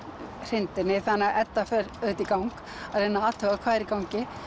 hrinda henni þannig að Edda fer auðvitað í gang að reyna að athuga hvað er í gangi